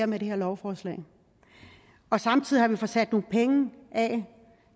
med det her lovforslag og samtidig har vi fået sat nogle penge af